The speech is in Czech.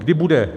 Kdy bude?